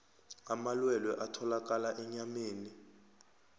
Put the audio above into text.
amalwelwe atholakala enyameni